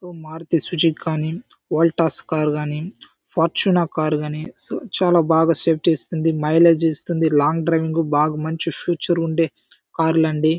Maruti Suzuki కానీ Voltas car కానీ పర్చున కారు గాని సొ చాలా బాగా సేఫ్టీ ఇస్తుంది మైలేజ్ ఇస్తుంది లాంగ్ డ్రైవింగ్ కి బాగా మంచి ఫ్యూచర్ ఉంటే కార్లు అండి.